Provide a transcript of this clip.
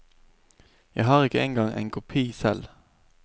Jeg har ikke engang en kopi selv.